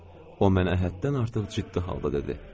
O mənə həddən artıq ciddi halda dedi: